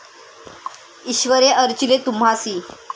ईश्वरे अर्चिले तुम्हासी ।